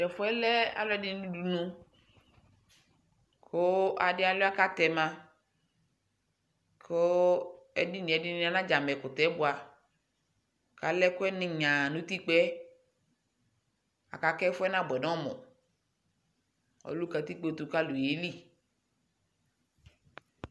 Tɛfu yɛ lɛ alʋɔdi ni udunu kʋ adi alua kʋ atɛma kʋ edini yɛ ɛdini anadiama ɛkutɛ yɛ bua kalɛ ɛkuɛ ni nyaa nʋ utikpa yɛ aka kʋ ɛfu yɛ nabuɛ nʋ ɔmʋ Ɔdʋ katikpotʋ kʋ alʋ yelι